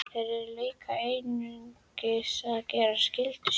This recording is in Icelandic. Þeir eru líka einungis að gera skyldu sína.